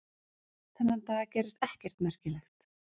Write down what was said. Þennan dag gerðist ekkert merkilegt.